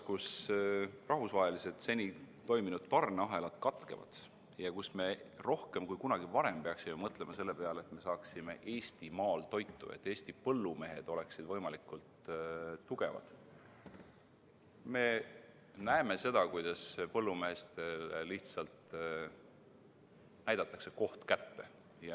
... kus seni toiminud rahvusvahelised tarneahelad katkevad ja me rohkem kui kunagi varem peaksime mõtlema selle peale, et me saaksime Eestimaal oma toitu ja Eesti põllumehed oleksid võimalikult tugevad, me näeme seda, kuidas põllumeestele lihtsalt näidatakse koht kätte.